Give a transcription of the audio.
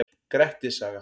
Grettis saga.